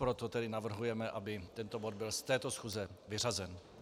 Proto tedy navrhujeme, aby tento bod byl z této schůze vyřazen.